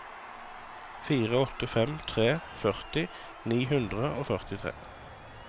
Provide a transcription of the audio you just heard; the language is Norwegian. fire åtte fem tre førti ni hundre og førtitre